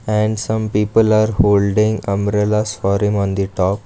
and some people are holding umbrellas for him on the top.